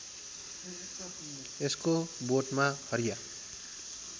यसको बोटमा हरिया